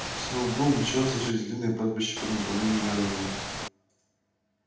сноуболл мчался через длинное пастбище по направлению к дороге